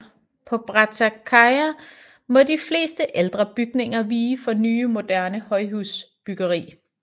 På Brattørkaia må de fleste ældre bygninger vige for nye og moderne højhusbyggeri